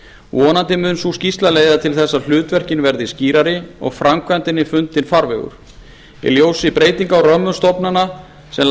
vonandi mun sú skýrsla leiða til þess að hlutverkin verði skýrari og framkvæmdinni fundinn farvegur í ljósi breytinga á römmum stofnana sem